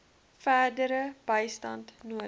verdere bystand nodig